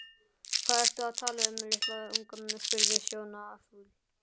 Hvað ertu að tala um litla unga? spurði Sonja fúl.